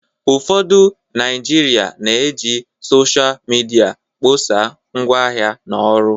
ụfọdụ Naijiria na-eji Sọsha midia kpọsaa ngwaahịa na ọrụ